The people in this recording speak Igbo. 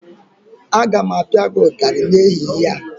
Aga m apia gị ụtarị n'ehihie!